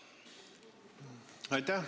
Aitäh!